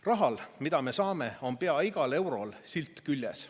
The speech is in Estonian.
Rahal, mis me saame, on pea igal eurol silt küljes.